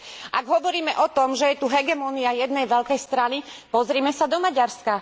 Ak hovoríme o tom, že je tu hegemónia jednej veľkej strany, pozrime sa do Maďarska.